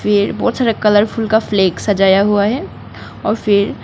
पेड़ बहोत सारा कलर फुल का फ्लैग सजाया हुआ है और फिर--